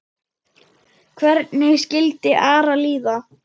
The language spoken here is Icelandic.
Hvernig skildi Ara líða?